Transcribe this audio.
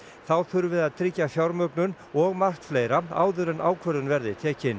þá þurfi að tryggja og margt fleira áður en ákvörðun verði tekin